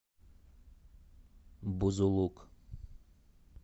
бузулук